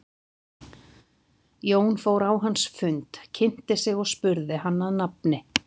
Jón fór á hans fund, kynnti sig og spurði hann að nafni.